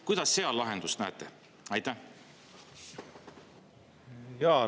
Kuidas seal lahendust näete?